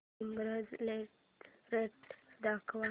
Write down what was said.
ईबझ लेटेस्ट दाखव